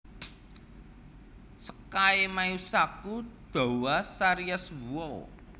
Sekai Meisaku Douwa Series Wow